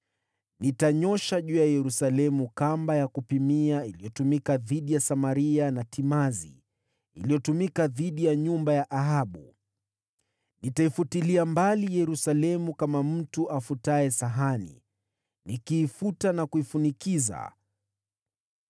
Nitanyoosha juu ya Yerusalemu kamba ya kupimia iliyotumika dhidi ya Samaria, na timazi iliyotumika dhidi ya nyumba ya Ahabu. Nitaifutilia mbali Yerusalemu kama mtu afutaye sahani, nikiifuta na kuifunikiza.